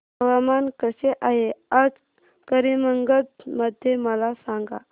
हवामान कसे आहे आज करीमगंज मध्ये मला सांगा